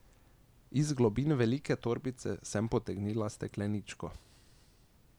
Iz globin velike torbice sem potegnila stekleničko.